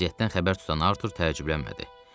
Vəziyyətdən xəbər tutan Artur təəccüblənmədi.